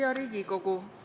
Hea Riigikogu!